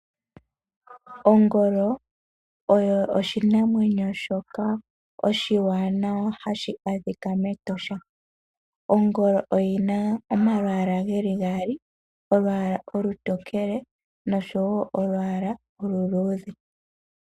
Ongolo oyo oshinamwenyo shoka oshi waanawa hashi adhika metosha. Ongolo oyina omalwaala geli gaali olwaala olutokele nosho woo olwaala oluluudhe.